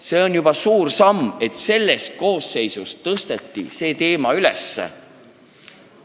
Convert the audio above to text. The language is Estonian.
See on juba suur samm, et selles koosseisus see teema üles tõsteti.